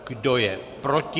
Kdo je proti?